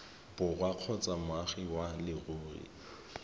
borwa kgotsa moagi wa leruri